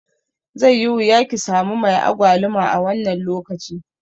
Zai yi wuya kisami mai agwaluma a wannan lokaci.